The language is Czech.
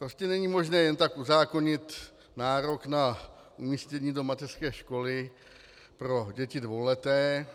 Prostě není možné jen tak uzákonit nárok na umístění do mateřské školy pro děti dvouleté,